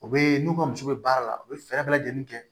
U bɛ n'u ka musow be baara la u be fɛɛrɛ bɛɛ lajɛlen kɛ